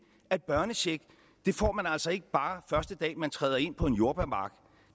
at børnecheck får man altså ikke bare første dag man træder ind på en jordbærmark